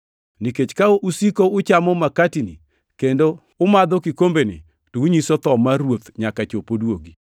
Nikech ka usiko uchamo makatini kendo umadho kikombeni, to unyiso tho mar Ruoth nyaka chop oduogi.